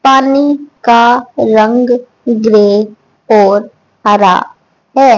पानी का रंग ग्रे और हरा है।